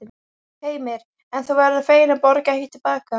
Heimir: En þú verður fegin að borga ekki til baka?